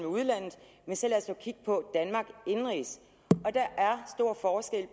udlandet så lad os da kigge på danmark indenrigs